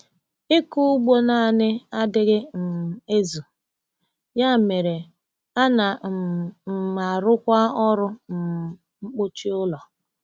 Ịkụ ugbo naanị adịghị um ezu, ya mere, ana um m arụkwa ọrụ um mkpuchi ụlọ.